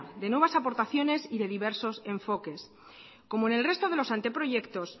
de nuevas aportaciones y de diversos enfoques como en el resto de los anteproyectos